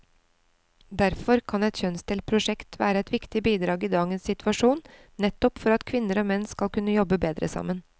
Derfor kan et kjønnsdelt prosjekt være et viktig bidrag i dagens situasjon, nettopp for at kvinner og menn skal kunne jobbe bedre sammen.